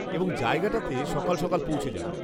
-এবং জায়গাটাতে সকাল সকাল পৌঁছে যাবেন।